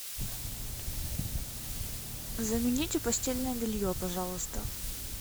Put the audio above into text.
замените постельное белье пожалуйста